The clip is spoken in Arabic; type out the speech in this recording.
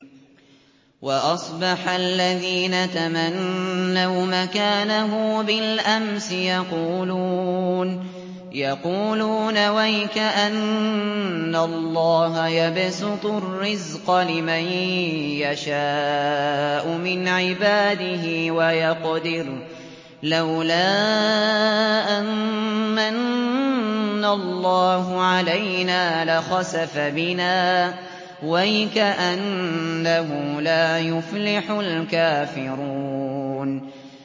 وَأَصْبَحَ الَّذِينَ تَمَنَّوْا مَكَانَهُ بِالْأَمْسِ يَقُولُونَ وَيْكَأَنَّ اللَّهَ يَبْسُطُ الرِّزْقَ لِمَن يَشَاءُ مِنْ عِبَادِهِ وَيَقْدِرُ ۖ لَوْلَا أَن مَّنَّ اللَّهُ عَلَيْنَا لَخَسَفَ بِنَا ۖ وَيْكَأَنَّهُ لَا يُفْلِحُ الْكَافِرُونَ